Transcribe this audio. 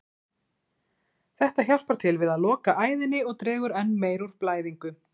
Þetta hjálpar til við að loka æðinni og dregur enn meir úr blæðingu.